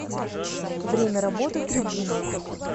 время работы трибуна